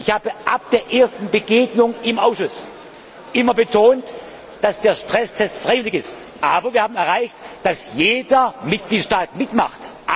Ich habe ab der ersten Begegnung im Ausschuss immer betont, dass der Stresstest freiwillig ist. Aber wir haben erreicht, dass jeder Mitgliedstaat mitmacht.